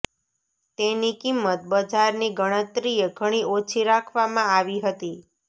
તેની કિંમત બજારની ગણતરીએ ઘણી ઓછી રાખવામાં આવી હતી